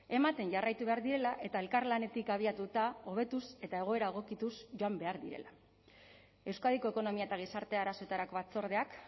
ematen jarraitu behar direla eta elkarlanetik abiatuta hobetuz eta egoera egokituz joan behar direla euskadiko ekonomia eta gizarte arazoetarako batzordeak